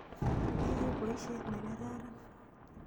Iyoe poisyet ne kararan.